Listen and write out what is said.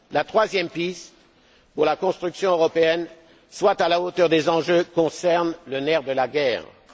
La troisième piste pour que la construction européenne soit à la hauteur des enjeux concerne le nerf de la guerre, l'argent.